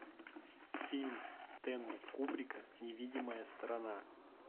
фильм стэнли кубрика невидимая сторона